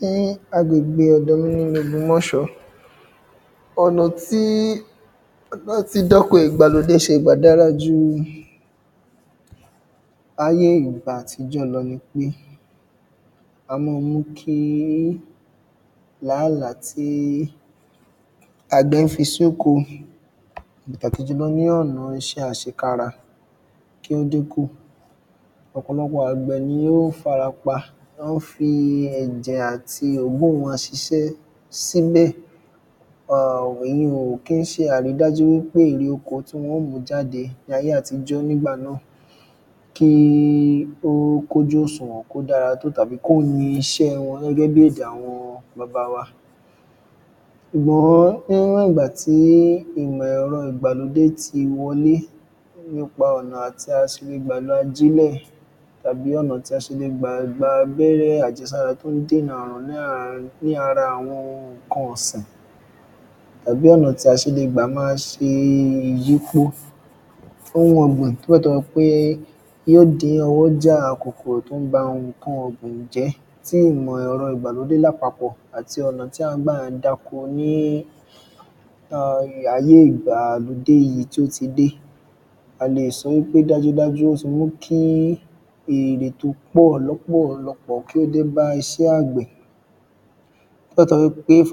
Ní āgbègbè ọ̀dọ̀ mī ní īlẹ̀ ògbómọ̀ṣọ́ ọ̀nà tí látī dọ́kọ̀ ìgbàlódé ṣe gbà dárā jū āyé ìgbà àtījọ́ lọ̄ nīpé ā mọ́ ọn mú kí làálàá tí àgbẹ̀ ń fī sókō ní ọ̀nà īṣẹ́ àṣēkárā kí ó dínkù. Ọ̀pọ̀lọ̄pọ̀ àgbẹ̀ nī ó ń fārā pā wọ́n ń fī ẹ̀jẹ̀ àtī òógùn wọ̄n ṣīṣẹ́ sílẹ̀ um èyun un ò kí ń ṣē àrídájú wí pé èrè ōkō tí wọ́n ó mú jádē ní ājé àtījọ́ nígbà náà kí ó kún ójú òsùwọ̀n kó dárā tó tàbí kó yīn īṣẹ́ wọ̄n gẹ́gẹ́ bí èdè àwọ̄n bābā wā. Ṣùgbọ́n níwọ̀n ìgbà tí ẹ̀rọ̄ ìgbàlódé tī wọ̄lé nípā ọ̀nà tí ā sì lē gbà lō ājílẹ̀ tàbí ọ̀nà tí ā ṣe lē gbà gbā ābẹ́rẹ́ àjẹ̄sárá tó ń dènà àrùn ní àá ní ārā àwọ̄n n̄ǹkān ọ̀sìn tàbí ọ̀nà tí ā ṣē lē gbà máa ṣē ìyípō ohun ọ̀gbìn tó bẹ́ẹ̀ tó jẹ́ pé yó dín ọ̄wọ́jà kòkòrò tó ń bā n̄ǹkān ọ̀gbìn jẹ́ tí ìmọ̀ ẹ̀rọ̄ ìgbàlódé lápāpọ̀ àtī ọ̀nà tí à ń gbà ń dákō ní um āyé ìgbàlódé yìí tí ó tī dé ā lè sọ̄ wí pé dájú dájú ó tī mú kí èrè tó pọ̀ lọ́pọ̀lọ̄pọ̀ kí ó dé bá īṣẹ́ àgbẹ̀. Nígbà tá bá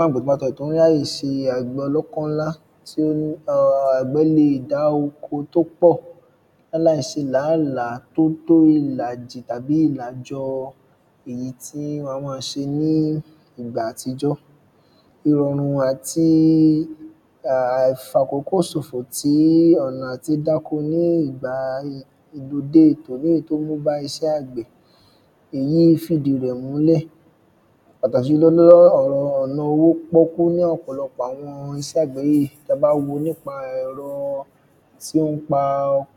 àgbẹ̀ wọ́n ń ráyè ṣē àgbẹ̀ ọ̄lọ́kọ́ ńlá tí ó ń um àgbẹ̀ lē è dá ōkō tó pọ̀ láláì ṣē làálàá tó tó ìlàjì tàbí ìlàjọ̄ èyí tí wọ̄n ā mọ́ ọn ṣē ní ìgbà àtījọ́ ìrọ̀rùn àtī um àìfàkókò sòfò tí ọ̀nà àtī dákō ní ìgbà lódé tòní tó mú bá īṣẹ́ àgbẹ̀ èyí ń fìdí rẹ̀ múlẹ̀. Pàtàkì jùlọ̄ ní ọ̀nà ōwó pọ́kú ní ọ̀pọ̀lọ̄pọ̀ àwọ̄n īṣẹ́ àgbẹ̀ yìí ta bá wō nípā ẹ̀rọ̄ tí ó ń pā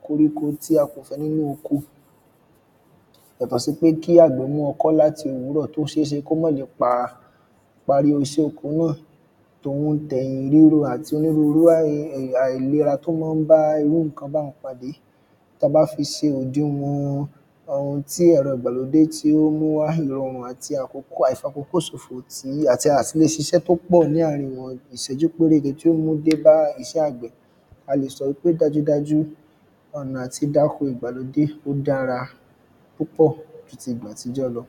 kōríkō tí ā kò fẹ́ nínú ōkō. Yàtọ̀ sí pé kí àgbẹ̀ mú ọkọ́ látī òwúrọ̀ tó ṣéé ṣé pé kó má le pā pārí īṣẹ́ ōkō náà tòhūn tẹ̀yìn rírō àtī ōnírúrú àìlērā tó má ń bá īrú n̄ǹkān báhūn pàdé tá bá fī sē òdīnwọ̀n ōhūn tí ẹ̀rọ̄ ìgbàlódé tí ó mú wá ìrọ̀rùn àtī àìfàkókò sòfò tí àtī lē ṣīṣẹ́ tó pọ̀ láàrīn ìwọ̀n ìṣẹ́jú pérétē tí ó mú débá īṣẹ́ àgbẹ̀ ā lè sọ̄ pé dájú dájú ọ̀nà àtī dákō ìgbàlódé ó dárā púpọ̀ jū tī ìgbà àtījọ́ lọ̄.